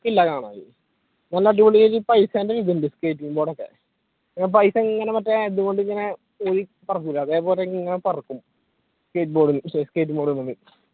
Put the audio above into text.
നല്ല അടിപൊളി പൈസേന്റെ ഇതുണ്ട് skating board ഒക്കെ പൈസ ഇങ്ങനെ മറ്റേ ഇതുകൊണ്ട് ഇങ്ങനെ അതേപോലെ ഇങ്ങനെ പറക്കും skate board, skate board